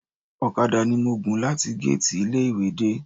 Ọ̀kadà ni mo gùn láti géètì ilé ìwé dé